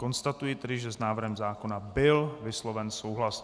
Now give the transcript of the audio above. Konstatuji tedy, že s návrhem zákona byl vysloven souhlas.